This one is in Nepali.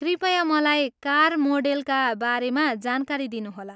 कृपया मलाई कार मोडेलका बारेमा जानकारी दिनुहोला।